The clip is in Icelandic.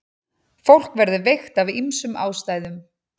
Fólk verður veikt af ýmsum ástæðum.